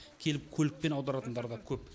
келіп көлікпен аударатындары да көп